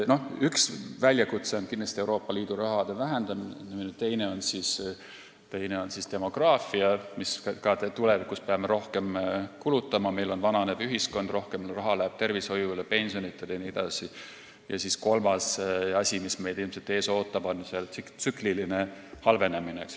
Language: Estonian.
Üks väljakutse on kindlasti Euroopa Liidu raha vähenemine, teine on aga demograafia, mille tõttu me tulevikus peame rohkem kulutama – meil on vananev ühiskond, rohkem raha läheb tervishoiule, pensioni maksmisele jne –, ja kolmas asi, mis meid ilmselt ees ootab, on tsükliline halvenemine.